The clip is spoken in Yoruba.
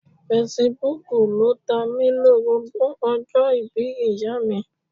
Fesibúùkù ló tamí-lórobó ọjọ́ ìbí ìyáàmi.